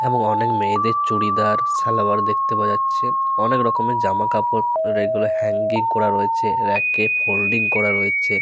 এবং অনেক মেয়েদের চুড়িদার সালোয়ার দেখতে পাওয়া যাচ্ছে। অনেক রকমের জামাকাপড় যেগুলো হ্যাঙ্গিং করা রয়েছে রেকে এ ফোল্ডিং করা রয়েছে।